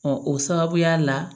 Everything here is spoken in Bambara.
o sababuya la